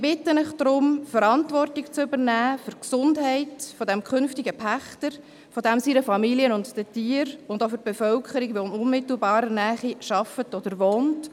Ich bitte Sie deshalb, Verantwortung zu übernehmen für die Gesundheit des künftigen Pächters, seiner Familie, der Tiere und auch der Bevölkerung, die in unmittelbarer Nähe arbeitet oder wohnt.